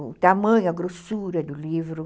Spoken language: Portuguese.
O tamanho, a grossura do livro.